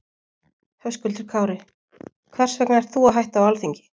Höskuldur Kári: Hvers vegna ert þú að hætta á Alþingi?